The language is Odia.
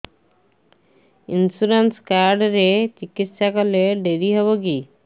ଇନ୍ସୁରାନ୍ସ କାର୍ଡ ରେ ଚିକିତ୍ସା କଲେ ଡେରି ହବକି